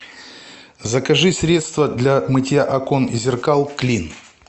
закажи средство для мытья окон и зеркал клин